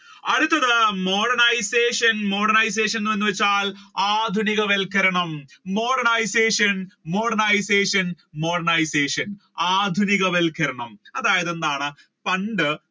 അടുത്തത് modernisation, modernisation എന്ന് വെച്ചാൽ ആധുനികവത്ക്കരണം modernisation, modernisation, modernisation ആധുനികവത്ക്കരണം അതായത് എന്താണ് പണ്ട്